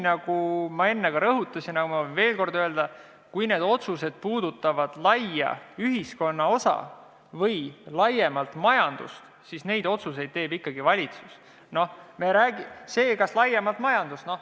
Nagu ma enne juba rõhutasin, aga ma võin veel kord öelda, et kui need otsused puudutavad suurt ühiskonna osa või majandust laiemalt, siis teeb need ikkagi valitsus.